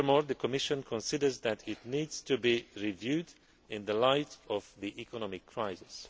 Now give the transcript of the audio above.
players. Furthermore, the Commission considers that it needs to be reviewed in the light of the economic